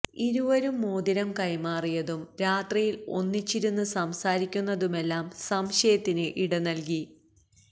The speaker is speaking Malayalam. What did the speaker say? ഇരുവരും മോതിരം കൈമാറിയതും രാത്രിയില് ഒന്നിച്ചിരുന്ന് സംസാരിക്കുന്നതുമെല്ലാം സംശയത്തിന് ഇടനല്കി